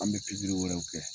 An be wɛrɛw kɛ.